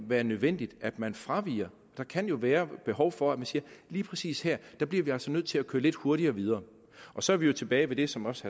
være nødvendigt at man fraviger der kan jo være behov for at man siger lige præcis her bliver vi altså nødt til at køre lidt hurtigere videre så er vi tilbage ved det som også